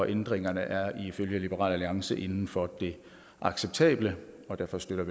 ændringerne er ifølge liberal alliance inden for det acceptable og derfor støtter